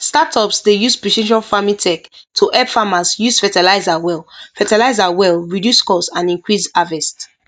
startups dey use precision farming tech to help farmers use fertilizer well fertilizer well reduce cost and increase harvest